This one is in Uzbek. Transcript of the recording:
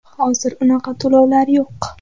Hozir unaqa to‘lovlar yo‘q.